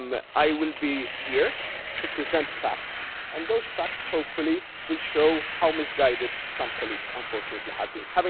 word. I will be here to present facts, and those facts, hopefully, will show how misguided some colleagues, unfortunately, have